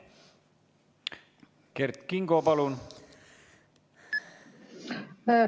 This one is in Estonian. Kert Kingo, palun!